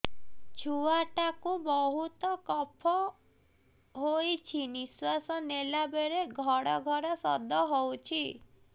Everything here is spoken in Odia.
ଛୁଆ ଟା କୁ ବହୁତ କଫ ହୋଇଛି ନିଶ୍ୱାସ ନେଲା ବେଳେ ଘଡ ଘଡ ଶବ୍ଦ ହଉଛି